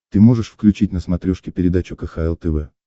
ты можешь включить на смотрешке передачу кхл тв